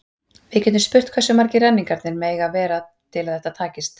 við getum spurt hversu margir renningarnir mega vera til að þetta takist